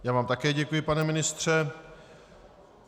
Já vám také děkuji, pane ministře.